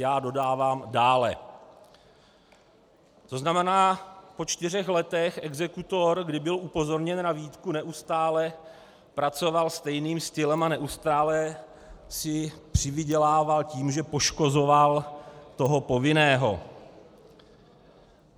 - Já dodávám dále, to znamená, po čtyřech letech exekutor, kdy byl upozorněn na výtku, neustále pracoval stejným stylem a neustále si přivydělával tím, že poškozoval toho povinného.